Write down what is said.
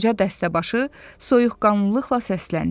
Qoca dəstəbaşı soyuqqanlılıqla səsləndi.